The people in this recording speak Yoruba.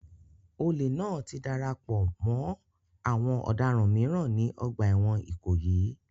Olè náà ti darapọ̀ mọ́ àwọn ọ̀daràn mìíràn ní ọgbà ẹ̀wọ̀n Ikoyi